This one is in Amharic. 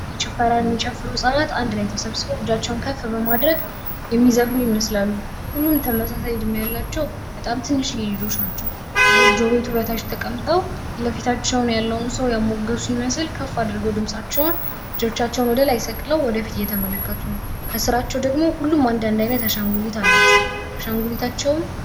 ጭፈራ የሚጨፈሩ ህፃናት አንድ ላይ ተሰብስበው እጃቸውን ከፍ በማድረግ የሚዘፍኑ ይመስላሉ። ሁሉም ተመሳሳይ ዕድሜ ያላቸው በጣም ትንሽዬ ልጆች ናቸው ጎጆ ቤቱ በታች ተቀምጠው ፊት ለፊታቸው ያለውን ሰው እያሙገሱ ይመስል ከፍ አድርገው ድምጻቸውን እጃቸውን ወደ ላይ ከፍ በማድረግ እየተመለከቱ ነው። ከስራቸው ደግሞ ሁሉም አንዳንድ አይነት አሻንጉሊት አላቸው።